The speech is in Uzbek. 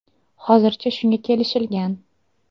Hozircha shunga kelishilgan.